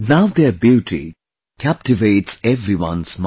Now their beauty captivates everyone's mind